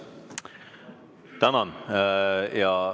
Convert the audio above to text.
Tänan!